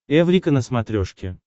эврика на смотрешке